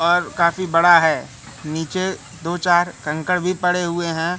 और काफी बड़ा हैं नीचे दो चार कंकड़ भीं पड़े हुए हैं।